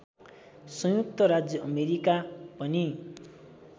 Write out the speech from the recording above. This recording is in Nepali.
संयुक्त राज्य अमेरिका पनि